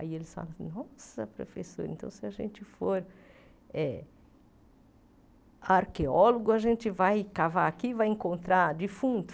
Aí eles falaram, nossa, professora, então se a gente for eh arqueólogo, a gente vai cavar aqui e vai encontrar defunto?